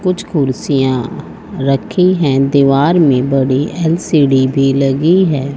कुछ कुर्सियां रखी हैं दीवार में बड़ी एल_सी_डी भी लगी है।